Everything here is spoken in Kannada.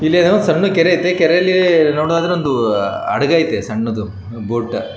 ಇಲ್ಲೇನು ಸಣ್ಣ ಕೆರೆ ಐತಿ ಕೆರೇಲಿ ನೋಡುದಾದ್ರೆ ಒಂದು ಹಡ್ಗ ಐತೆ ಸಣ್ಣದು ಬೊಟ --